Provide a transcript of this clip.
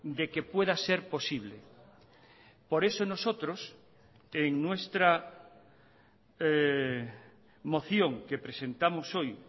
de que pueda ser posible por eso nosotros en nuestra moción que presentamos hoy